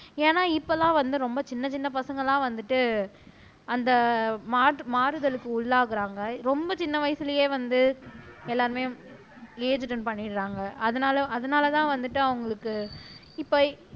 ஏன்னா இப்பெல்லாம் வந்து ரொம்ப சின்ன சின்ன பசங்கள்லாம் வந்துட்டு அந்த மாறுமாறுதலுக்கு உள்ளாகுறாங்க ரொம்ப சின்ன வயசிலேயே வந்து எல்லாருமே ஏஜ் அட்டென்ட் பண்ணிடுறாங்க அதனால அதனாலதான் வந்துட்டு அவங்களுக்கு இப்ப